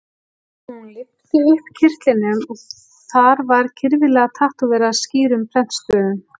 Hún lyfti upp kyrtlinum og þar var kyrfilega tattóverað skýrum prentstöfum